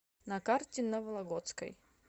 на карте на вологодской